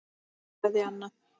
Kveðja, Anna.